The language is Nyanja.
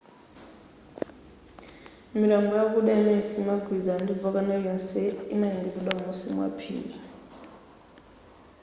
mitambo yakuda imene siyimagwilizana ndi volcano iliyonse inalengezedwa m'musi mwa phiri